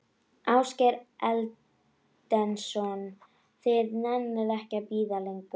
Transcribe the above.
Ásgeir Erlendsson: Þið nennið ekki að bíða lengur?